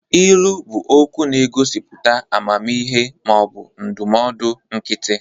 Ilu bụ okwu na-egosipụta amamihe ma ọ bụ ndụmọdụ nkịtị.